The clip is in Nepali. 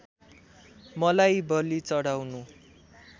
मलाई बली चढाउनु